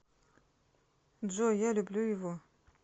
джой я люблю его